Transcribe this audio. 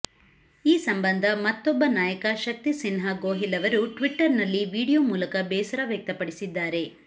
ಈ ಸಂಬಂಧ ಮತ್ತೊಬ್ಬ ನಾಯಕ ಶಕ್ತಿಸಿನ್ಹ ಗೋಹಿಲ್ ಅವರು ಟ್ವಿಟರ್ನಲ್ಲಿ ವಿಡಿಯೋ ಮೂಲಕ ಬೇಸರ ವ್ಯಕ್ತಪಡಿಸಿದ್ದಾರೆ